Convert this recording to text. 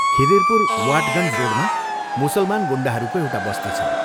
खिदिरपुर वाटगञ्ज रोडमा मुसलमान गुण्डाहरूको एउटा बस्ती छ।